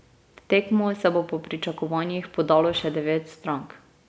V tekmo se bo po pričakovanjih podalo še devet strank.